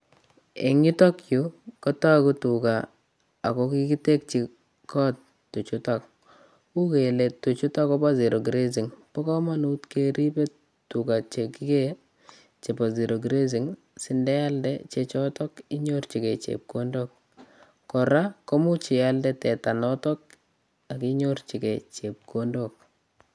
Eng' yutok yu kotaagu tuga akokigitekchi kot tuchuutok. Much keele tuuchutok koba zero-grazing. Pa komonut keribe tuga chekigee chebo zero-grazing sindealde cheechotok inyorchigei chepkondok kora komuuch ialde teta nootok akinyorchigei chepkondok